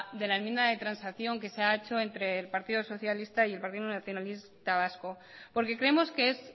de la enmienda de transacción que se ha hecho entre el partido socialista y el partido nacionalista vasco porque creemos que es